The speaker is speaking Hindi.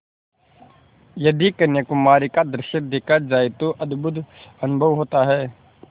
यदि कन्याकुमारी का दृश्य देखा जाए तो अद्भुत अनुभव होता है